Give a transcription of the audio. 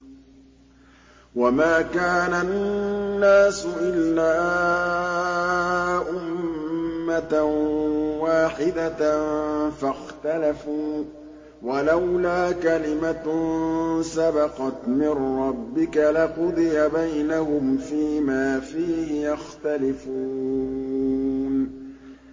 وَمَا كَانَ النَّاسُ إِلَّا أُمَّةً وَاحِدَةً فَاخْتَلَفُوا ۚ وَلَوْلَا كَلِمَةٌ سَبَقَتْ مِن رَّبِّكَ لَقُضِيَ بَيْنَهُمْ فِيمَا فِيهِ يَخْتَلِفُونَ